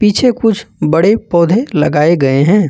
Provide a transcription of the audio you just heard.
पीछे कुछ बड़े पौधे लगाए गए हैं।